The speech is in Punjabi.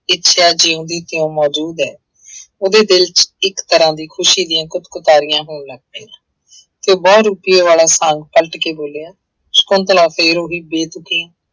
ਇੱਛਾ ਜਿਉੁਂਦੀ ਕਿਉਂ ਮੌਜੂਦ ਹੈ ਉਹਦੇ ਦਿਲ ਚ ਇੱਕ ਤਰ੍ਹਾਂ ਦੀ ਖ਼ੁਸ਼ੀ ਦੀਆਂ ਕੁਤਕੁਤਾਰੀਆਂ ਹੋਣ ਲੱਗ ਪਈਆਂ ਤੇ ਬਹੁਤ ਬੋਲਿਆ ਸਕੁੰਤਲਾ ਫਿਰ ਉਹੀ ਬੇਤੁਕੀਆਂ